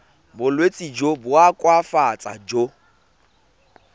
bolwetsi jo bo koafatsang jo